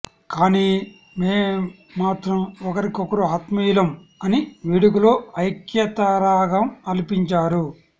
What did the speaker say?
కానీ మేం మాత్రం ఒకరికొకరు ఆత్మీయులం అని వేడుకలో ఐక్యతారాగం ఆలపించారు